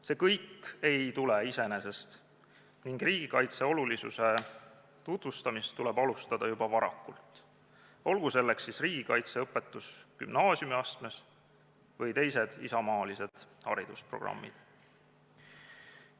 See kõik ei tule iseenesest ning riigikaitse olulisuse tutvustamist tuleb alustada juba varakult – olgu selleks siis riigikaitseõpetus gümnaasiumiastmes või teised isamaalised haridusprogrammid.